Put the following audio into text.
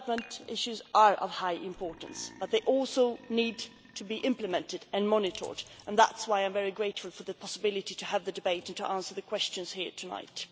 development issues are of high importance but they also need to be implemented and monitored and that is why I am very grateful for the opportunity of having this debate and answering the questions here tonight.